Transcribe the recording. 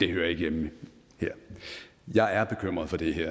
hører ikke hjemme her jeg er bekymret for det her